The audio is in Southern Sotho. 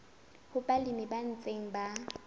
ho balemi ba ntseng ba